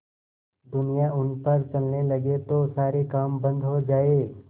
दुनिया उन पर चलने लगे तो सारे काम बन्द हो जाएँ